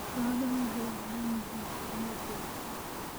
Xooluhu waxay u baahan yihiin kormeer joogto ah.